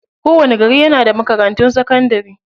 Kowani gari yana da makarantun sakadanrai.